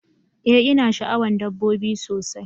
Ee ina sha'awan dabbobi sosai